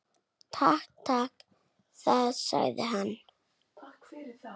Takk fyrir það- sagði hann.